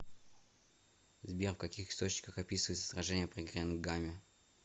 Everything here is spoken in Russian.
сбер в каких источниках описывается сражение при гренгаме